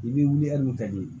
I bɛ wuli hali n'u ka ɲɛ